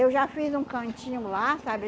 Eu já fiz um cantinho lá, sabe?